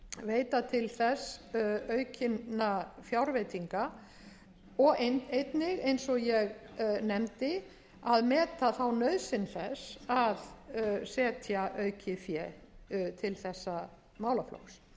veita til þess aukinna fjárveitinga og einnig eins og ég nefndi að meta þá nauðsyn þess að setja aukið fé til þessa